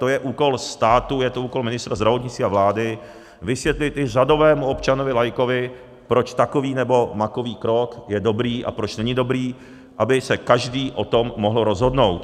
To je úkol státu, je to úkol ministra zdravotnictví a vlády vysvětlit i řadovému občanovi laikovi, proč takový nebo makový krok je dobrý a proč není dobrý, aby se každý o tom mohl rozhodnout.